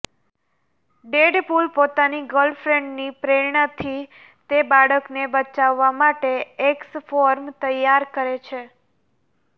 Deadpool પોતાની ગર્લફ્રેન્ડની પ્રેરણાથી તે બાળકને બચાવવા માટે એક્સ ફોર્સ તૈયાર કરે છે